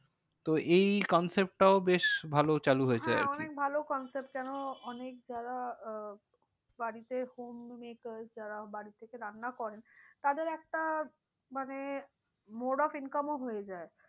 তো এই concept টাও বেশ ভালো চালু হয়েছে। হ্যাঁ অনেক ভালো concept কেন অনেক যারা আহ বাড়িতে homemaker যারা বাড়ি থেকে রান্না করেন তাদের একটা মানে more of income ও হয়ে যায়।